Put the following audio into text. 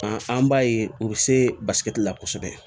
An b'a ye u bɛ se basigi la kosɛbɛ